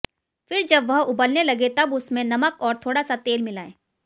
फिर जब वह उबलने लगे तब उसमें नमक और थोड़ा सा तेल मिलाएं